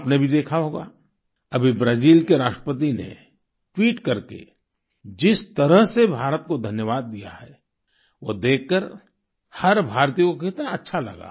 आपने भी देखा होगा अभी ब्राज़ील के राष्ट्रपति ने ट्वीट करके जिस तरह से भारत को धन्यवाद दिया है वो देखकर हर भारतीय को कितना अच्छा लगा